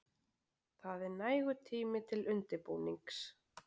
Það er nægur tími til undirbúnings.